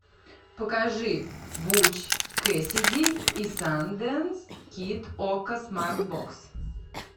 покажи буч кэссиди и сандэнс кид окко смарт бокс